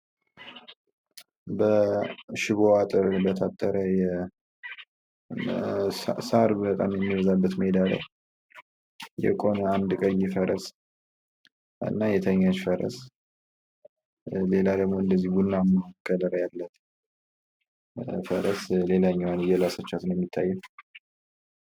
በሽቦ አጥር በታጠረ፣ ሳር በጣም የሚበዛበት ሜዳ ላይ የቆመ አንድ ቀይ ፈረስ እና የተኛች ፈረስ ሌላ ደግሞ እንደዚሁ ቡናማ ከለር ያላት ፈረስ ሌላኛዋን እየላሰቻት ነው የሚታየው።